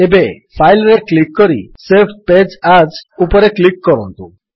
ଏବେ ଫାଇଲ୍ ରେ କ୍ଲିକ୍ କରି ସେଭ୍ ପେଜ୍ ଏଏସ୍ ଉପରେ କ୍ଲିକ୍ କରନ୍ତୁ